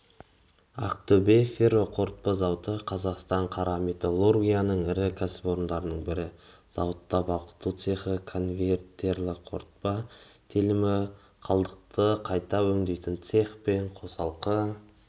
ақтөбе ферроқорытпа зауыты қазақстан қара металургиясының ірі кәсіпорындарының бірі зауытта балқыту цехы конвертерлік қорытпа телімі қалдықты қайта өңдейтін цех пен қосалқы